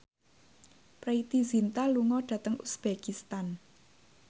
Preity Zinta lunga dhateng uzbekistan